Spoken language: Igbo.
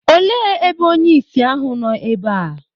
òle ebe onye-ìsì ahu nọ ebe a?